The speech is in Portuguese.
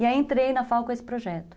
E aí entrei na FAO com esse projeto.